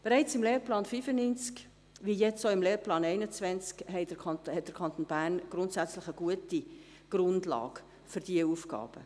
Bereits im Lehrplan 95, aber auch jetzt, im Lehrplan 21, hat der Kanton Bern grundsätzlich eine gute Grundlage für diese Aufgabe.